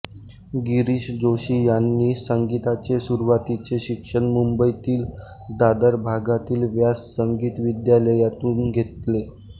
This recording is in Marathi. गिरीश जोशी यांनि संगीताचे सुरुवातीचे शिक्षण मुंबईतील दादर भागातील व्यास संगीत विद्यालयातून घेतले